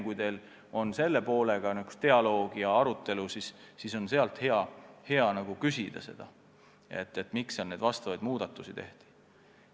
Kui teil tekib dialoog või arutelu selle poolega, siis võiksite neilt küsida, miks need muudatused tehti.